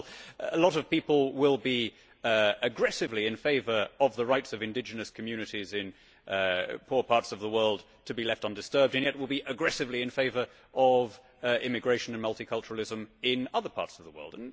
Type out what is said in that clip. For example, a lot of people will be aggressively in favour of the rights of indigenous communities in poor parts of the world to be left undisturbed and yet will be aggressively in favour of immigration and multiculturalism in other parts of the world.